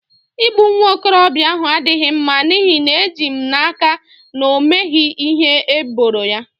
Igbu nwa okorobịa ahụ adịghị mma n'ihi na eji m n'aka na o meghị ihe eboro ya